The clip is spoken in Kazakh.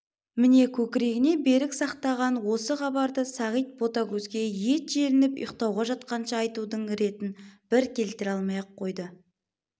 міне көкірегіне берік сақтаған осы хабарды сағит ботагөзге ет желініп ұйқтауға жатқанша айтудың ретін бір келтіре алмай-ақ қойды